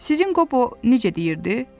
Sizin Qobo necə deyirdi?